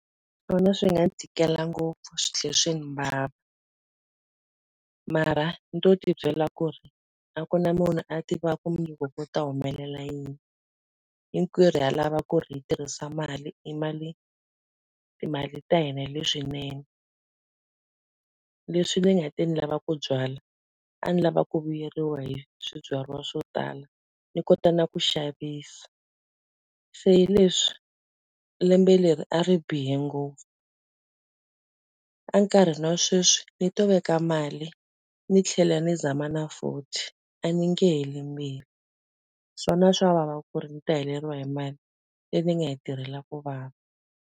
Swona swi nga ni tikela ngopfu swi tlhela swi ndzi vava. Mara ni to ti byela ku ri a ku na munhu a tiva ku mundzuku ku ta humelela yini, hinkwerhu ha lava ku ri hi tirhisa mali timali ta hina hi leswinene. Leswi ni nga te ni lava ku byala, a ni lava ku vuyeriwa hi swibyariwa swo tala, ni kota na ku xavisa. Se hi leswi lembe leri a ri bihe ngopfu. Enkarhini wa sweswi ni to veka mali ni tlhela ni zama na futhi, a ni nge heli mbilu. Swona swa vava ku ri ndzi ta heleriwa hi mali leyi ni nga yi tirhela ku vava.